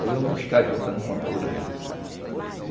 Aí iam buscar a juta nos motores lá.